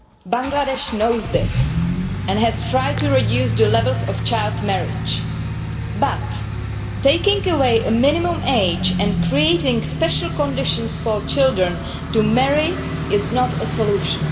Bangladesh knows this and has tried to reduce the number of child marriages, but taking away the minimum age and creating special conditions for children to marry is not a solution.